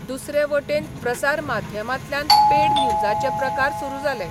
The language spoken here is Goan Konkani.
दुसरे वटेन प्रसार माध्यमा॑ांतल्यान पेड न्यूजाचे प्रकार सुरू जाले.